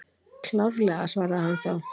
Klárlega, svaraði hann þá.